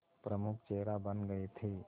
प्रमुख चेहरा बन गए थे